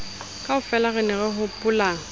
kaofela re ne re hopola